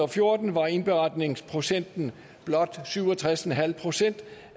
fjorten var indberetningsprocenten blot syv og tres procent